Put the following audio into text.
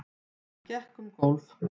Hann gekk um gólf.